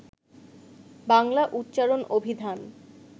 বাংলা উচ্চারণ অভিধান